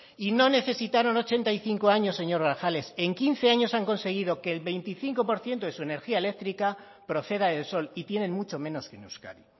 y no necesitaron ochenta y cinco años señor grajales en quince años han conseguido que el veinticinco por ciento de su energía eléctrica proceda del sol y tienen mucho menos que en euskadi